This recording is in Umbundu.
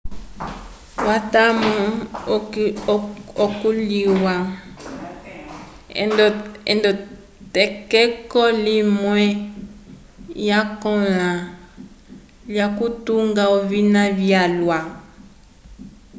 owatomu ikulĩhiwa nd'etokeko limwe lyakõla lyokutunga ovina vyalwa